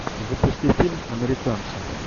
запусти фильм американцы